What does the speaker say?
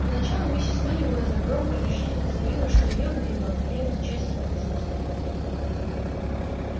поначалу миссис мерриуэзер громко и решительно заявила что её мейбелл не примет участия в этой затее